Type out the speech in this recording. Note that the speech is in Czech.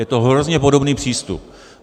Je to hrozně podobný přístup.